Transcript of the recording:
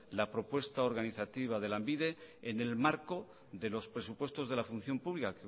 la propuesta organizativa de lanbide en el marco de los presupuestos de la función pública